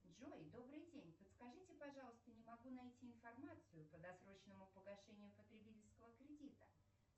джой добрый день подскажите пожалуйста не могу найти информацию по досрочному погашению потребительского кредита